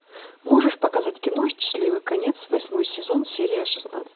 можешь показать кино счастливый конец восьмой сезон серия шестнадцать